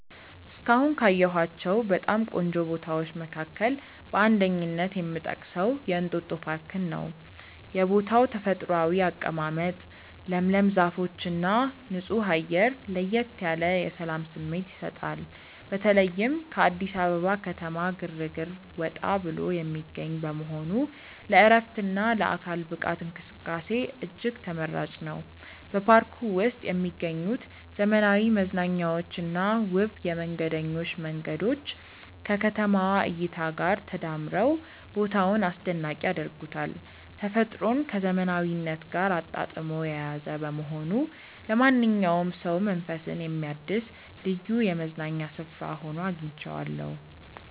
እስካሁን ካየኋቸው በጣም ቆንጆ ቦታዎች መካከል በአንደኝነት የምጠቀሰው የእንጦጦ ፓርክን ነው። የቦታው ተፈጥሯዊ አቀማመጥ፣ ለምለም ዛፎችና ንጹህ አየር ለየት ያለ የሰላም ስሜት ይሰጣል። በተለይም ከአዲስ አበባ ከተማ ግርግር ወጣ ብሎ የሚገኝ በመሆኑ ለዕረፍትና ለአካል ብቃት እንቅስቃሴ እጅግ ተመራጭ ነው። በፓርኩ ውስጥ የሚገኙት ዘመናዊ መዝናኛዎችና ውብ የመንገደኞች መንገዶች ከከተማዋ እይታ ጋር ተዳምረው ቦታውን አስደናቂ ያደርጉታል። ተፈጥሮን ከዘመናዊነት ጋር አጣጥሞ የያዘ በመሆኑ ለማንኛውም ሰው መንፈስን የሚያድስ ልዩ የመዝናኛ ስፍራ ሆኖ አግኝቼዋለሁ።